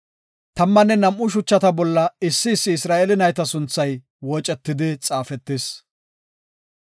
Tammanne nam7u shuchata bolla issi issi Isra7eele nayta sunthay woocetidi xaafetis.